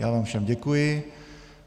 Já vám všem děkuji.